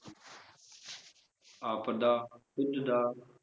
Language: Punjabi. ਆਪ ਦਾ ਖੁੱਦ ਦਾ,